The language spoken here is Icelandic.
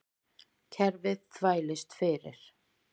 Kerfið þvælist fyrir